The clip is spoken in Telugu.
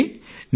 చూడండి